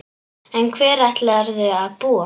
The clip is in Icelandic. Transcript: En hvar ætlarðu að búa?